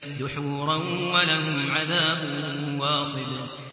دُحُورًا ۖ وَلَهُمْ عَذَابٌ وَاصِبٌ